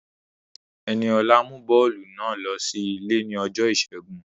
Ẹniọlá mú bọ́ọ̀lù náà ló sí ilé ní ọjọ́ ìṣẹ́gun